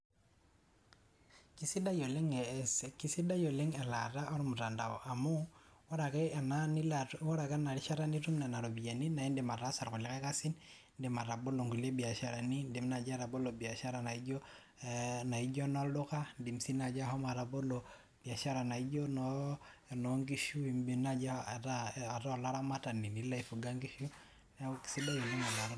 keisidai oleng elaata ormutandao amu ore ake ena nilo ore ake ena ishata nitum nena ropiyiani naa idim ataasa kulie kasin. idim atabolo nkulie biasharani. idim naaji atabolo biashara naijo enolduka, idim sii naajia shomo atabolo, biashara naijo eno nkishu, idim naaji ataa olaramatani, nilo ae fuga nkishu neeku kisidai oleng .